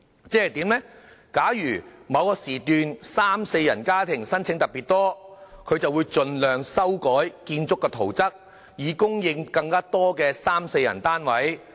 即是說，假如某時段三至四人家庭的申請特別多，它就會盡量修改建築圖則，以供應更多三至四人單位。